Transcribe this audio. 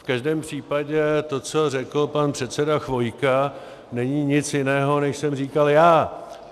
V každém případě to, co řekl pan předseda Chvojka, není nic jiného, než jsem říkal já.